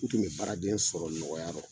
U tun bɛ baaraden sɔrɔ nɔgɔya fɔ.